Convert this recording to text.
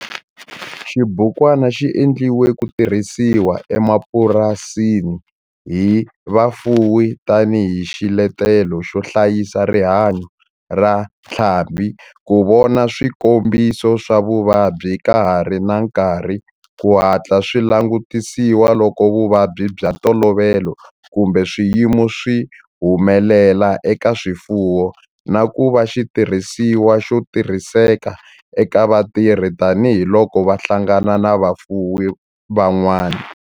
Xibukwana xi endliwe ku tirhisiwa emapurasini hi vafuwi tani hi xiletelo xo hlayisa rihanyo ra ntlhambhi, ku vona swikombiso swa vuvabyi ka ha ri na nkarhi ku hatla swi langutisiwa loko vuvabyi bya ntolovelo kumbe swiyimo swi humelela eka swifuwo, na ku va xitirhisiwa xo tirhiseka eka vatirhi tani hi loko va hlangana na vafuwi van'wana.